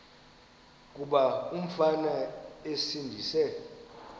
kuba umfana esindise